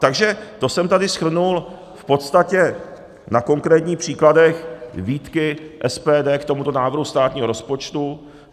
Takže to jsem tady shrnul v podstatě na konkrétních příkladech výtky SPD k tomuto návrhu státního rozpočtu.